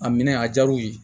A minɛ a diyara u ye